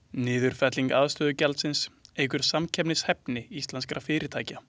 Niðurfelling aðstöðugjaldsins eykur samkeppnishæfni íslenskra fyrirtækja.